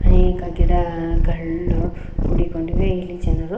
ಅನೇಕ ಗಿಡಗಳು ಕುಡಿಕೊಂಡು ಇಲ್ಲಿ ಜನರು.